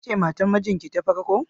Kece matar mijinki ta farko?